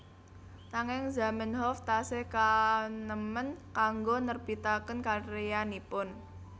Nanging Zamenhof tasih kaenèmen kanggé nerbitaken karyanipun